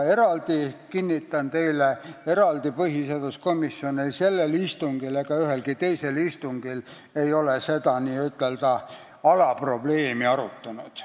Kinnitan teile, et põhiseaduskomisjon ei arutanud eraldi seda n-ö alaprobleemi sellel istungil ega ole seda teinud ka ühelgi teisel istungil.